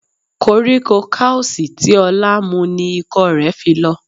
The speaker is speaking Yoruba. Koríko kausi tí Ọlá mu ni ikọ́ rẹ̀ fi lọ.